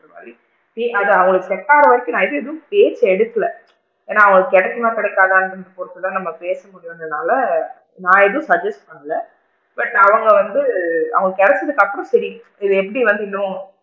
அந்த மாதிரி அது அவுங்களுக்கு set ஆகுற வரைக்கும் நான் எதும் room கேட்டு எடுக்கல ஏன்னா அவுங்களுக்கு கிடைக்குமா கிடைக்காதான்ரத பொருத்து தான் நாம பேச முடியும்ங்கறனால நான் எதுவும் suggest பண்ணல but அவுங்க வந்து அவுங்களுக்கு கிடைச்சதுக்கு அப்பறம் தெரியும் இத எப்படி வந்து இன்னும்,